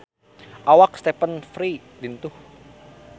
Awak Stephen Fry lintuh